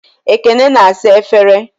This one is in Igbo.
Ekene na-asa efere.